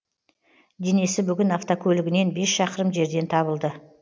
денесі бүгін автокөлігінен бес шақырым жерден табылды